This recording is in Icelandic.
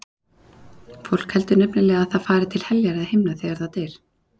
Fólk heldur nefnilega að það fari til heljar eða himna þegar það deyr.